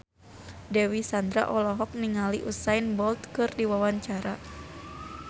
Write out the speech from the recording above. Dewi Sandra olohok ningali Usain Bolt keur diwawancara